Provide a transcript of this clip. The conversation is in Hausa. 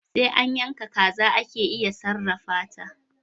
Sai an yaka kaza ake iya sarrafata